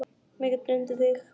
Mig dreymdi þig.